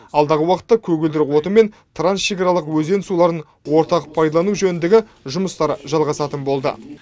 алдағы уақытта көгілдір отын мен трансшекараларық өзен суларын ортақ пайдалану жөніндегі жұмыстар жалғасатын болды